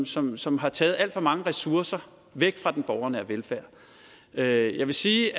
som som har taget alt for mange ressourcer væk fra den borgernære velfærd jeg vil sige